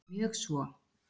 Mjög svo.